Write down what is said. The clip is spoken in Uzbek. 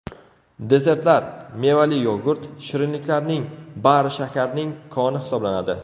Desertlar, mevali yogurt, shirinliklarning bari shakarning koni hisoblanadi.